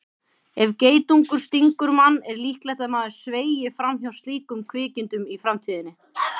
Ef geitungur stingur mann er líklegt að maður sveigi fram hjá slíkum kvikindum í framtíðinni.